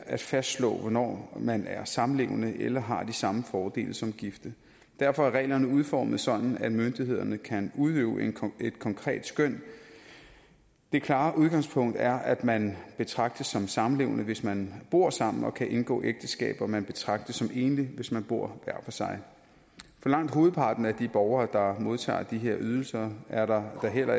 at fastslå hvornår man er samlevende eller har de samme fordele som gifte derfor er reglerne udformet sådan at myndighederne kan udøve et konkret skøn det klare udgangspunkt er at man betragtes som samlevende hvis man bor sammen og kan indgå ægteskab og at man betragtes som enlig hvis man bor hver for sig for langt hovedparten af de borgere der modtager de her ydelser er der da heller